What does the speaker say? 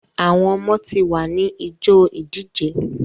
Àwọn ọmọ tí wá ni ijó ìdíje.